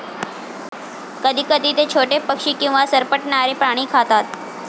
कधीकधी ते छोटे पक्षी किंवा सरपटणारे प्राणी खातात.